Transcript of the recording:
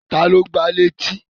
Taàní o gbá létí?